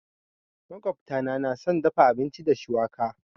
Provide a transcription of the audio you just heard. Makwabta na nà son dafa abinci da shuwaka.